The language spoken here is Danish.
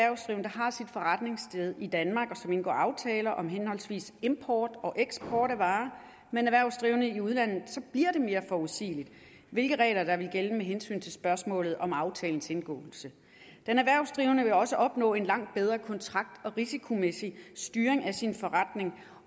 har sit forretningssted i danmark og som indgår aftaler om henholdsvis import og eksport af varer med en erhvervsdrivende i udlandet mere forudsigeligt hvilke regler der gælder med hensyn til spørgsmålet om aftalens indgåelse den erhvervsdrivende vil også opnå en langt bedre kontrakt og risikomæssig styring af sin forretning